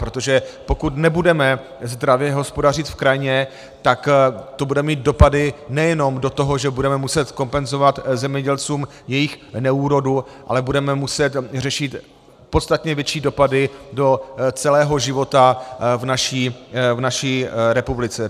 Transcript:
Protože pokud nebudeme zdravě hospodařit v krajině, tak to bude mít dopady nejenom do toho, že budeme muset kompenzovat zemědělcům jejich neúrodu, ale budeme muset řešit podstatně větší dopady do celého života v naší republice.